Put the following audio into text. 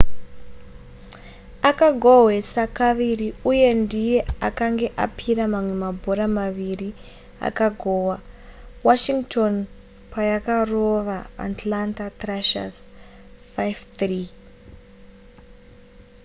akagohwesa kaviri uye ndiye akange apira mamwe mabhora maviri akagohwa washington payakarova atlanta thrashers 5-3